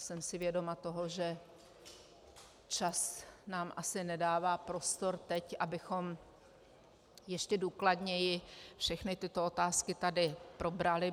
Jsem si vědoma toho, že čas nám asi nedává prostor teď, abychom ještě důkladněji všechny tyto otázky tady probrali.